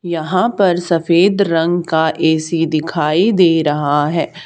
यहां पर सफेद रंग का ए_सी दिखाई दे रहा है।